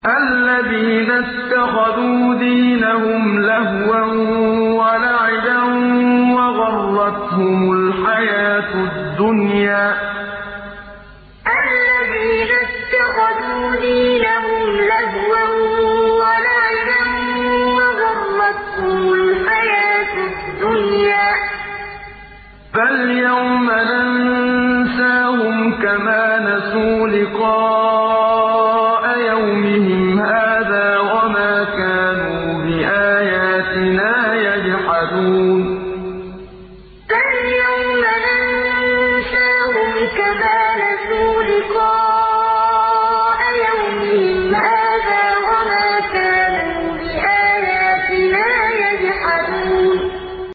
الَّذِينَ اتَّخَذُوا دِينَهُمْ لَهْوًا وَلَعِبًا وَغَرَّتْهُمُ الْحَيَاةُ الدُّنْيَا ۚ فَالْيَوْمَ نَنسَاهُمْ كَمَا نَسُوا لِقَاءَ يَوْمِهِمْ هَٰذَا وَمَا كَانُوا بِآيَاتِنَا يَجْحَدُونَ الَّذِينَ اتَّخَذُوا دِينَهُمْ لَهْوًا وَلَعِبًا وَغَرَّتْهُمُ الْحَيَاةُ الدُّنْيَا ۚ فَالْيَوْمَ نَنسَاهُمْ كَمَا نَسُوا لِقَاءَ يَوْمِهِمْ هَٰذَا وَمَا كَانُوا بِآيَاتِنَا يَجْحَدُونَ